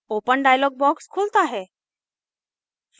open dialog box खुलता है